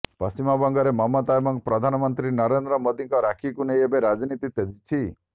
ପଶ୍ଚିମବଙ୍ଗରେ ମମତା ଏବଂ ପ୍ରଧାନମନ୍ତ୍ରୀ ନରେନ୍ଦ୍ର ମୋଦିଙ୍କ ରାକ୍ଷୀକୁ ନେଇ ଏବେ ରାଜନୀତି ତେଜିଛି